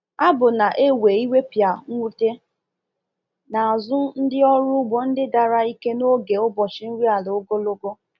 Abụ na-ewe iwepịa mwute n’azụ ndị ọrụ ugbo ndị dara ike n’oge ụbọchị nri ala ogologo.